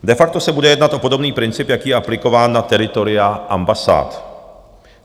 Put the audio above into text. De facto se bude jednat o podobný princip, jaký je aplikován na teritoria ambasád.